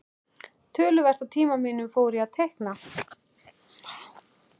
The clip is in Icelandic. Töluvert af tíma mínum fór í að teikna.